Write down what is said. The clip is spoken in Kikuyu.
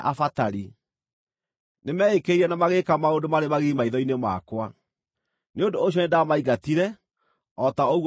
Nĩmeĩkĩrĩire na magĩĩka maũndũ marĩ magigi maitho-inĩ makwa. Nĩ ũndũ ũcio nĩndamaingatire, o ta ũguo muonete.